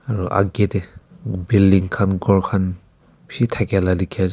aru akae tae building khan ghor khan bishi thakaela dikhiase.